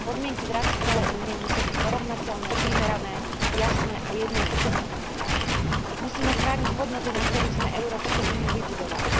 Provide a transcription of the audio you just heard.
Podmienky v rámci celej Únie musia byť porovnateľné, primerané, jasné a jednoduché. Musíme chrániť hodnoty, na ktorých sme Európsku úniu vybudovali.